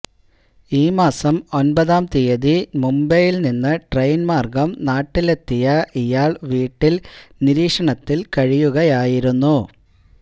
ഈ മാസം ഒൻപതാം തീയതി മുംബൈയിൽ നിന്ന് ട്രെയിൻ മാർഗം നാട്ടിലെത്തിയ ഇയാൾ വീട്ടിൽ നിരീക്ഷണത്തിൽ കഴിയുകയായിരുന്നു